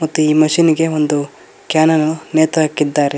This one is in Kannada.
ಮತ್ತೆ ಈ ಮಷೀನ್ ಇಗೆ ಒಂದು ಕ್ಯಾನ್ ಅನ್ನು ನೇತುಹಾಕಿದ್ದಾರೆ.